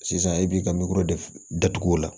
Sisan i b'i ka datugu o la